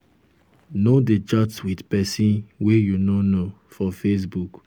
no dey chat wit pesin wey you no um know for facebook.